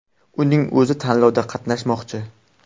Uning o‘zi tanlovda qatnashmoqchi.